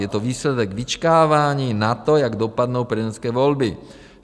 Je to výsledek vyčkávání na to, jak dopadnou prezidentské volby.